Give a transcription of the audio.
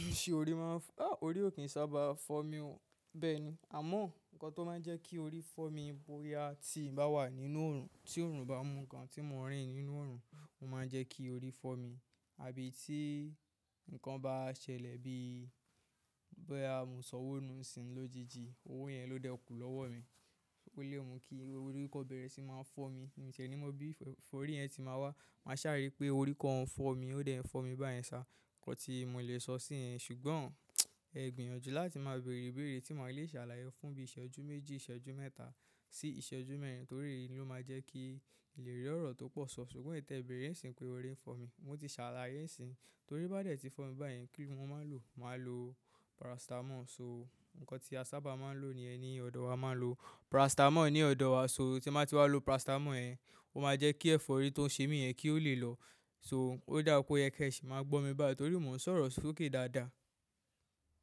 Ṣé orí máa ń fọ́? À, orí ò kí ń sábà fọ́ mi ọ́. Bẹ́ẹ̀ ni, àmọ́ nǹkan tó máa ń jẹ́ kí orí fọ́ mi bóyá tí n bá wà nínú oòrùn, tí oòrùn bá mu gan tí mò ń rìn nínú oòrùn, ó máa ń jẹ́ kí orí fọ́ mi. Àbí tí nǹkan bá ṣẹlẹ̀ bí i boya mò sọ ówo nù ń sìn lójijì, owó yẹn ló dẹkù lọ́wọ́ mi. Bi léwu kí orí kọ́ bẹ̀rẹ̀ sí ń máa fọ́ mi. Mi ti e ní mo bí f-forí yẹn tí màá wá. Màá ṣàrí pé orí kọ́ ń fọ́ mi, ó dẹ̀ ń fọ́ mi báyẹn sá. Ǹkan tí mò le sọ sí ẹ. Ṣùgbọ́n ẹ gbìyànjú láti máa bèrè ìbéèrè tí ma lè ṣàlàyé fún bí iṣẹ́jú méjì, ìṣẹ́jú mẹ́ta sí ìṣẹ́jú mẹ́rin. Torí èyí ló máa jẹ́ kí n lérí ọ̀rọ̀ tó pọ̀ ṣọ. Ṣùgbọ́n ìtẹ́ béèrè ń ṣìn pé orí ń fọ́ mi. Mo ti ṣàlàyé ń ṣìn. Torí bá dè tí fọ́ mi báyẹn kí ni mo máa n lò? Màá lo paracetamol. So, nǹkan tí a sábà máa ń lò ní yé nì ọ̀dọ̀ wa, a máa ń lo paracetamol ní ọ̀dọ̀ wa. So, tí ń ba ti wá lo paracetamol yẹn, ó máa jẹ́ kí ẹ̀fọ́rí tó ń ṣe mi yẹn kí ó lè lọ. So, ó dà pé ọyẹ́kẹ́ṣìì máa gbọ́ mi bá yi torí mò ń sọ̀rọ̀ sókè dáadáa.